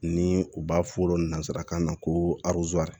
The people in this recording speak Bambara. Ni u b'a fɔ o ma nanzarakan na ko